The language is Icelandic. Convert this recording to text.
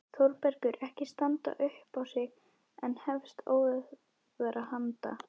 Þórbergur ekki standa upp á sig en hefst óðara handa.